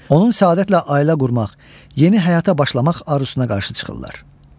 Onun səadətlə ailə qurmaq, yeni həyata başlamaq arzusuna qarşı çıxırlar.